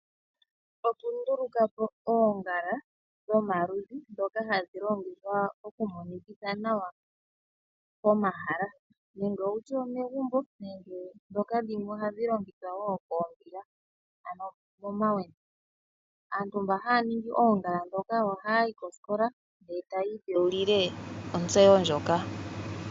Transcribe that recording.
Okunduluka po oongala dhomaludhi dhoka hadhi longithwa okumonikitha nawa pomahala, nenge wutye omegumbo nenge dhoka dhimwe ohadhi longithwa wo koombila ano momawendo. Aantu mba haya ningi oongala dhoka ohaya yi kosikola etaya idhewulile otseyo ndjoka.